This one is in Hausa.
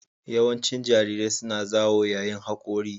Yawancin jarirai suna zawo yayin hakora